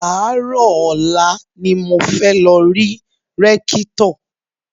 Àárò ọ̀la ni mo fẹ́ lọ rí Rékítò